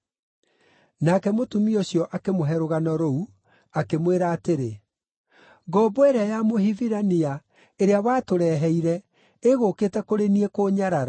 Nake mũtumia ũcio akĩmũhe rũgano rũu, akĩmwĩra atĩrĩ, “Ngombo ĩrĩa ya Mũhibirania, ĩrĩa watũreheire ĩgũũkĩte kũrĩ niĩ kũnyarara.